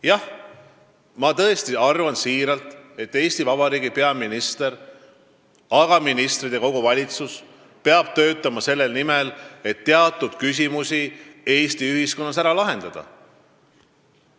Jah, ma tõesti arvan, et Eesti Vabariigi peaminister ja kogu valitsus peab töötama selle nimel, et teatud küsimused Eesti ühiskonnas ära lahendada.